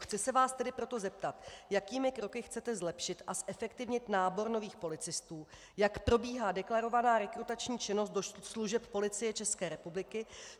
Chci se vás tedy proto zeptat, jakými kroky chcete zlepšit a zefektivnit nábor nových policistů, jak probíhá deklarovaná rekrutační činnost do služeb Policie České republiky.